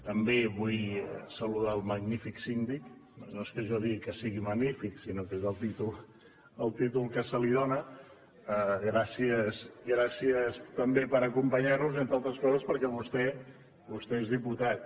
també vull saludar el magnífic síndic no és que jo digui que sigui magnífic sinó que és el títol que se li dóna gràcies també per acompanyar nos entre altres coses perquè vostè és diputat